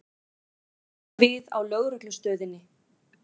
Líta við á Lögreglustöðinni.